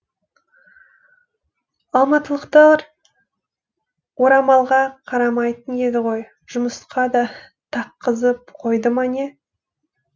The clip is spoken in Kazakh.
алматылықтар орамалға қарамайтын еді ғой жұмысқа да таққызып қойды ма не